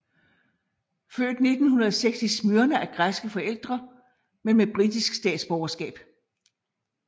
Født 1906 i Smyrna af græske forældre men med britisk statsborgerskab